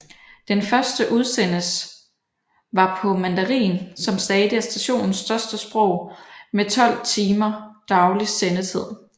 Den første udsendes var på mandarin som stadig er stationens største sprog med 12 timers daglig sendetid